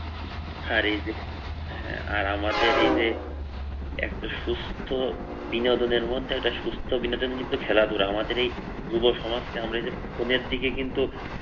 আর এই যে আহ আর আমাদের এই যে একটা সুস্থ বিনোদনের মধ্যে একটা সুস্থ বিনোদন কিন্তু খেলাধুলা আমরা এই যুব সমাজকে আমরা এই ফোনের দিকে কিন্তু